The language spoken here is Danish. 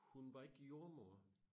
Hun var ikke jordemoder